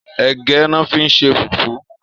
Ègë lò fi n ṣé fúfù